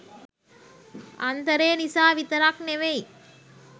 අන්තරේ නිසා විතරක් නෙමෙයි.